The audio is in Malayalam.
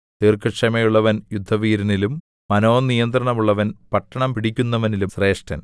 ദീർഘക്ഷമയുള്ളവൻ യുദ്ധവീരനിലും മനോനിയന്ത്രണമുള്ളവൻ പട്ടണം പിടിക്കുന്നവനിലും ശ്രേഷ്ഠൻ